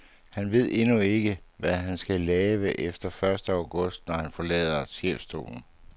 Han ved endnu ikke, hvad han skal lave efter første august, når han forlader chefstolen.